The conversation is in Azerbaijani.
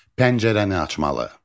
Pəncərəni açmalı.